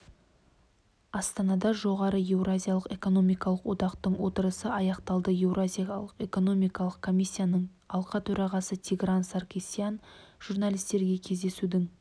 астанада жоғары еуразиялық экономикалық одақтың отырысы аяқталды еуразиялық экономикалық комиссияның алқа төрағасы тигран саркисян журналистерге кездесудің